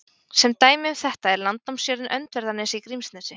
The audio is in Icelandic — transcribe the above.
Sem dæmi um þetta er landnámsjörðin Öndverðarnes í Grímsnesi.